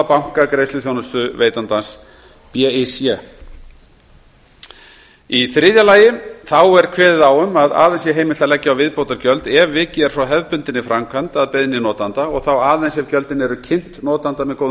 banka greiðsluþjónustuveitandans í þriðja lagi er kveðið á um að aðeins sé heimilt að leggja á viðbótargjöld ef vikið er frá hefðbundinni framkvæmd að beiðni notanda og þá aðeins ef gjöldin eru kynnt notanda með góðum